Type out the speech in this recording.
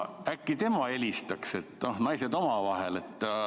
Äkki tema helistaks, et noh, naised omavahel.